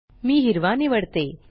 मी हिरवा निवडते